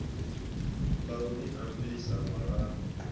ḽa u ni ambisa walani